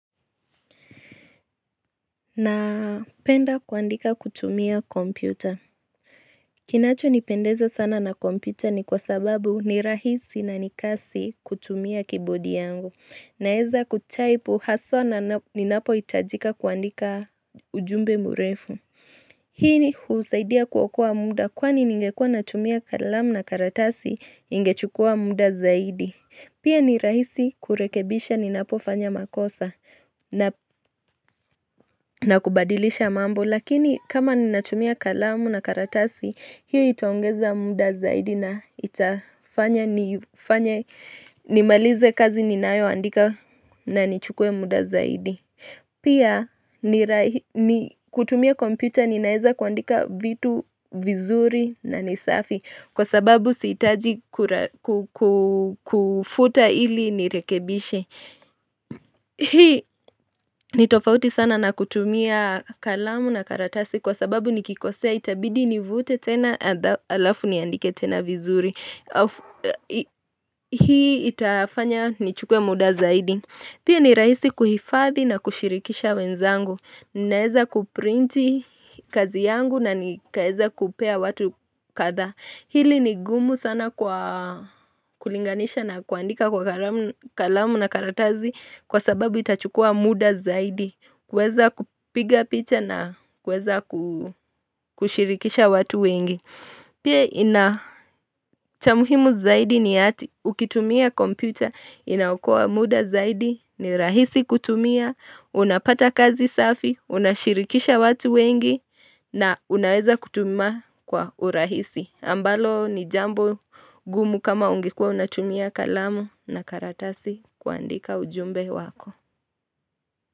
Napenda kuandika kutumia kompyuta. Kinachonipendeza sana na kompyuta ni kwa sababu ni rahisi na ni kasi kutumia keyboard yangu. Naeza kutype haswa ninapohitajika kuandika ujumbe murefu. Hii husaidia kuokaa muda kwani ningekua natumia kalamu na karatasi ningechukua muda zaidi. Pia ni rahisi kurekebisha ninapofanya makosa na kubadilisha mambo lakini kama ninatumia kalamu na karatasi hiyo itaongeza muda zaidi na itafanya nimalize kazi ninayoandika na nichukue muda zaidi. Pia ni kutumia kompyuta ninaeza kuandika vitu vizuri na ni safi Kwa sababu siitaji kufuta ili nirekebishe Hii ni tofauti sana na kutumia kalamu na karatasi Kwa sababu nikikosea itabidi nivute tena alafu niandike tena vizuri Hii itafanya nichukue muda zaidi Pia ni raisi kuhifadhi na kushirikisha wenzangu, ninaeza kuprinti kazi yangu na nikaeza kupea watu kadha Hili ni gumu sana kulinganisha na kuandika kwa kalamu na karatazi kwa sababu itachukua muda zaidi kuweza kupiga picha na kuweza kushirikisha watu wengi Pia ina cha muhimu zaidi ni hati ukitumia kompyuta inaokoa muda zaidi ni rahisi kutumia unapata kazi safi unashirikisha watu wengi na unaweza kutuma kwa urahisi ambalo ni jambo gumu kama ungekuwa unatumia kalamu na karatasi kuandika ujumbe wako.